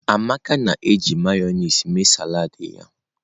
Amaka na-eji Mayonezi mee salad ya.